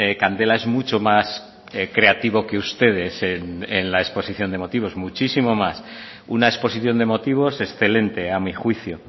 candela es mucho más creativo que ustedes en la exposición de motivos muchísimo más una exposición de motivos excelente a mi juicio